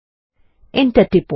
enter টিপুন